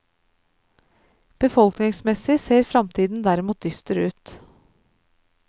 Befolkningsmessig ser fremtiden derimot dyster ut.